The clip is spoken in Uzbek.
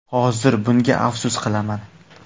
Hozir bunga afsus qilaman.